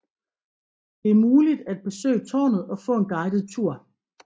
Det er muligt at besøge tårnet og få en guidet tur